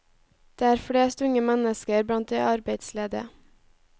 Det er flest unge mennesker blant de arbeidsledige.